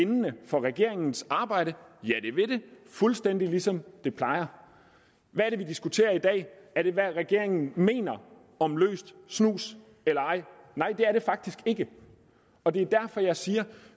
bindende for regeringens arbejde ja det vil det fuldstændig ligesom det plejer hvad er det vi diskuterer i dag er det hvad regeringen mener om løs snus nej det er det faktisk ikke og det er derfor jeg siger at